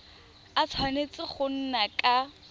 a tshwanetse go nna ka